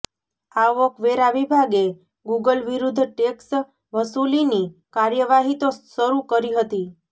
આવકવેરા વિભાગે ગૂગલ વિરુદ્ધ ટેક્સ વસૂલીની કાર્યવાહી તો શરૂ કરી હતી